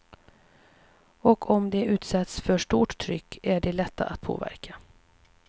Och om de utsätts för stort tryck är de lätta att påverka.